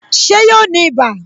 Ṣé yóò ní ibà